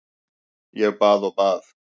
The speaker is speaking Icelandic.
Ég bað og bað.